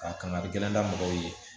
A kangarijigɛ la mɔgɔw ye